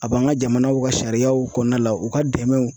A b'an ka jamanaw ka sariyaw kɔnɔna la u ka dɛmɛw